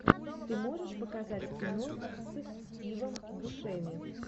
ты можешь показать кино с стивом бушеми